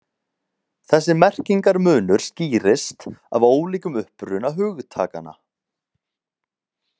Þessi merkingarmunur skýrist af ólíkum uppruna hugtakanna.